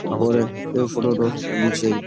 উপরে এ ফটো দিছে--